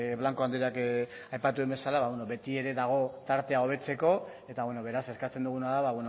blanco andreak aipatu duen bezala dago tartea hobetzeko eta beraz eskatzen duguna da